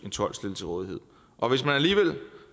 en tolk stillet til rådighed og hvis man alligevel